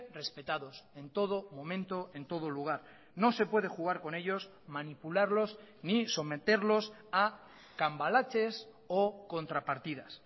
respetados en todo momento en todo lugar no se puede jugar con ellos manipularlos ni someterlos a cambalaches o contrapartidas